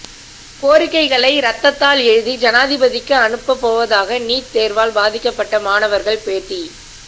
கோரிக்கைகளை ரத்தத்தால் எழுதி ஜனாதிபதிக்கு அனுப்பப் போவதாக நீட் தேர்வால் பாதிக்கப்பட்ட மாணவர்கள் பேட்டி